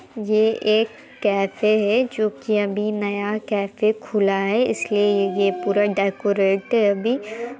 ये एक कैफ़े है जो की अभी नया कैफ़े खुला है इसलिए ये पूरा डेकोरेट है अभी